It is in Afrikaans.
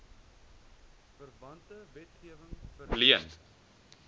verwante wetgewing verleen